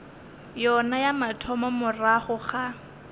yona ya mathomo morago ga